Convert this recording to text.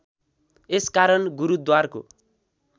यस कारण गुरूद्वारको